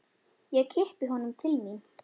Ég kippi honum til mín.